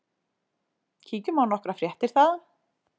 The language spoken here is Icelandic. Kíkjum á nokkrar fréttir þaðan.